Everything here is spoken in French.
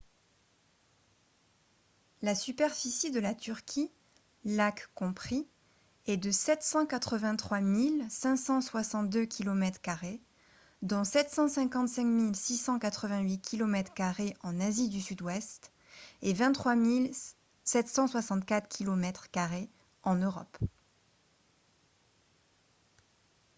la superficie de la turquie lacs compris est de 783 562 kilomètres carrés dont 755 688 kilomètres carrés en asie du sud-ouest et 23 764 kilomètres carrés en europe